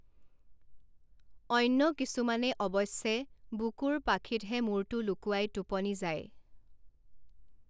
অন্য কিছুমানে অৱশ্যে বুকুৰ পাখিতহে মূৰটো লুকুৱাই টোপনি যায়।